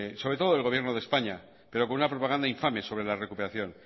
sobre todo del gobierno de españa pero con una propaganda infame sobre la recuperación